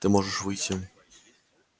ты можешь выйти